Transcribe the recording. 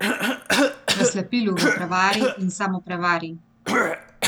V slepilu, v prevari in samoprevari.